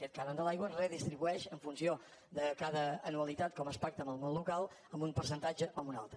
aquest cànon de l’aigua redistribueix en funció de cada anualitat com es pacta amb el món local amb un percentatge o amb un altre